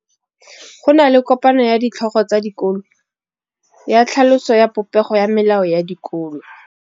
Go na le kopanô ya ditlhogo tsa dikolo ya tlhaloso ya popêgô ya melao ya dikolo.